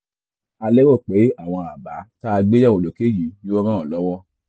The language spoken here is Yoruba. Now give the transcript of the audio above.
a lérò pé àwọn àbá tá a gbé yẹ̀wò lókè yìí yóò ràn ọ́ lọ́wọ́